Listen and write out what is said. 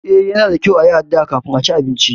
Eh Yana da kyau yin addu'a kafin cin abinci.